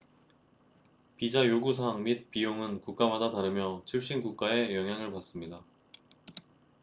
비자 요구 사항 및 비용은 국가마다 다르며 출신 국가의 영향을 받습니다